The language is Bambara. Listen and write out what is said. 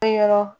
Kɛyɔrɔ